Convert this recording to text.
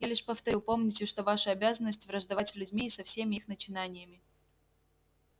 я лишь повторю помните что ваша обязанность враждовать с людьми и со всеми их начинаниями